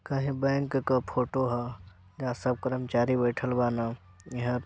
bank के photo ह यहाँ सब कर्मचारी बइठल बानन इहाँ --